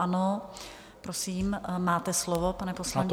Ano, prosím, máte slovo, pane poslanče.